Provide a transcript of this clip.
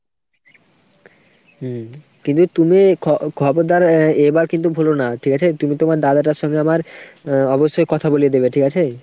হম কিন্তু তুমি খবর খবরদার এবার কিন্তু ভুলো না ঠিক আছে ? তুমি তোমার দাদাটার সঙ্গে আমার আ অবশ্যই কথা বলিয়ে দেবে ঠিক আছে ?